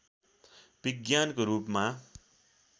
विज्ञानको रूपमा